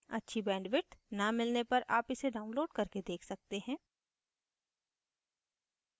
अच्छी bandwidth न मिलने पर आप इसे download करके देख सकते हैं